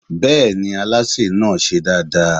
Bẹ́ẹ̀ni, alásè náà ṣe dáadáa.